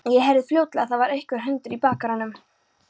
Ég heyrði fljótlega að það var einhver hundur í bakaranum.